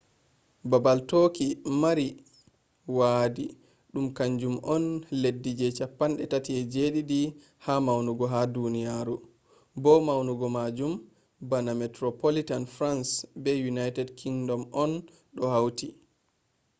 babal turkey mari wadi dum kanjum on leddi je 37 ha maunugo ha duniyaru bo maunugo majum bana metropolitan france be united kingdom on do hauti